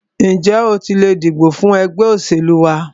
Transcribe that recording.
Ǹjẹ́ o tilẹ̀ dìbò fún ẹgbẹ́ òṣèlú wa?